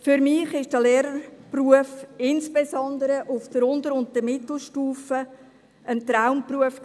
Für mich war der Lehrerberuf, insbesondere auf der Unter- und Mittelstufe, ein Traumberuf.